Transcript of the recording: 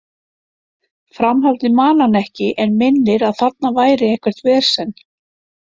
Framhaldið man hann ekki en minnir að þarna væri eitthvert vesen.